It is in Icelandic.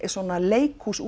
leikhús